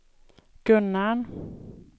Gunnarn